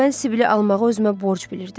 Amma mən Sibili almağı özümə borc bilirdim.